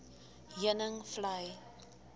heuningvlei